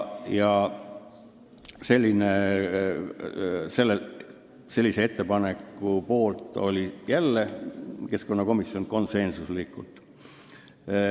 " Selle poolt oli keskkonnakomisjon jälle konsensuslikult.